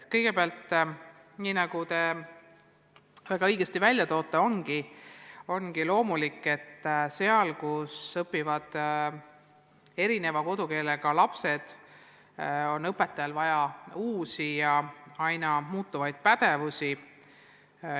Kõigepealt, nagu te väga õigesti märgite, ongi loomulik, et koolis, kus õpivad erineva kodukeelega lapsed, on õpetajate pädevust pidevalt vaja suurendada.